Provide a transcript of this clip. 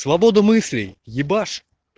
свобода мыслей ебашь